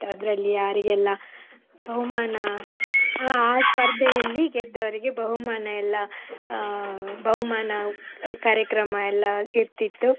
ಅದ್ರಲ್ಲಿ ಯಾರಿಗೆಲ್ಲ ಬಹುಮಾನ ಆ ಆ ಸ್ಪರ್ಧೆಯಲ್ಲಿ ಗೆದ್ದವರಿಗೆ ಬಹುಮಾನ ಎಲ್ಲ ಅಹ್ ಬಹುಮಾನ ಕಾರ್ಯಕ್ರಮ ಎಲ್ಲ ಇರ್ತಿತ್ತು.